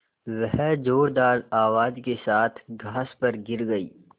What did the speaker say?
वह ज़ोरदार आवाज़ के साथ घास पर गिर गई